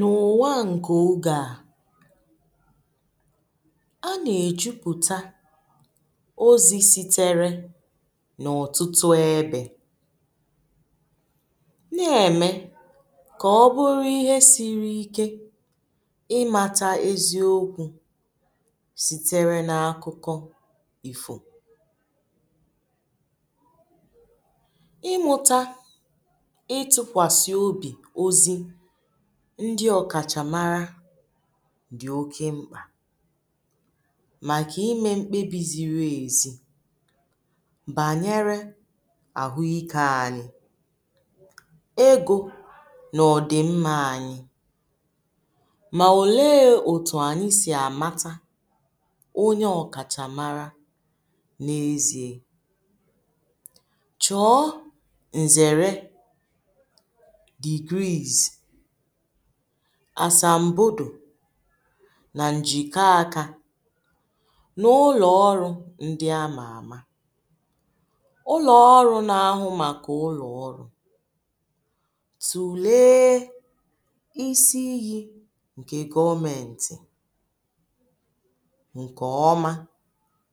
nà ụ̀wa ǹkè o gà a nà-èjupụ̀ta ozi sitere nà ọ̀tụtụ ebė, na-ème kà ọ bụrụ ihe siri ike imȧtȧ eziokwu̇ sitere n’akụkụ ifu ịmụta itukwasi obi ozi ndi ọ̀kàchà mara dì oke mkpà màkà imė mkpebi ziri ezi bànyere àhụ ikė ànyị, egȯ nà ọ̀dì mmȧ ànyị, mà òlee òtù ànyị sì àmata onye ọkàchà mara n’ezie? choo nzere degrees asàmbòdò na njikọ aka na ụlọ̀ ọrụ̇ ndi amà àma ụlọ-ọrụ̇ na ahụ màkà ụlọ-ọrụ̇, tùlee isi iyi ǹke goomenti ǹkè ọma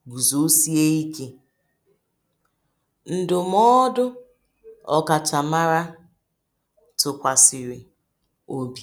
gùzòsie ike. ndụmọdụ̇ okachamara tukwasiri obi